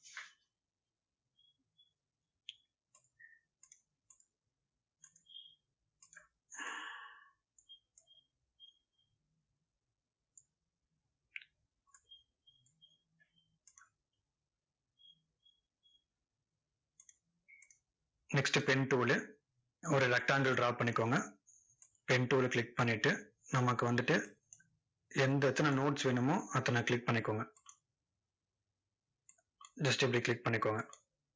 next pen tool ஒரு rectangle draw பண்ணிக்கோங்க pen tool ல click பண்ணிட்டு, நமக்கு வந்துட்டு எந்த எத்தனை notes வேணுமோ, அத்தனை click பண்ணிக்கோங்க. just இப்படி click பண்ணிக்கோங்க.